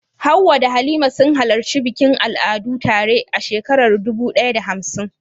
Hawwa da Halima sun halarci bikin al'adu tare a shekarar dubu ɗaya da hamsin.